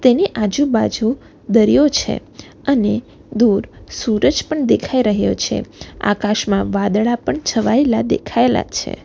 એની આજુબાજુ દરિયો છે અને દૂર સુરજ પણ દેખાઈ રહ્યો છે આકાશમાં વાદળા પણ છવાયેલા દેખાયેલા જ છે.